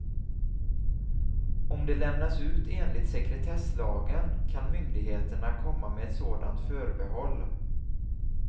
Om det lämnas ut enligt sekretesslagen kan myndigheterna komma med ett sådant förbehåll.